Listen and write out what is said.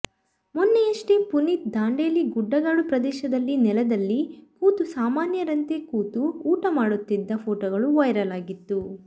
ಮೊನ್ನೆಯಷ್ಟೇ ಪುನೀತ್ ದಾಂಡೇಲಿ ಗುಡ್ಡಗಾಡು ಪ್ರದೇಶದಲ್ಲಿ ನೆಲದಲ್ಲಿ ಕೂತು ಸಾಮಾನ್ಯರಂತೇ ಕೂತು ಊಟ ಮಾಡುತ್ತಿದ್ದ ಫೋಟೋಗಳು ವೈರಲ್ ಆಗಿತ್ತು